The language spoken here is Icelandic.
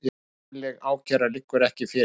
Formleg ákæra liggur ekki fyrir